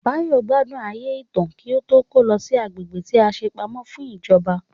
Báyọ̀ gbádùn ayé ìta kí ó tó kó lọ sí agbègbè tí a ṣe pamọ́ fún ìjọba